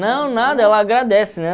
Não, nada, ela agradece, né?